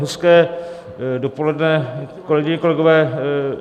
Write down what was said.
Hezké dopoledne, kolegyně, kolegové.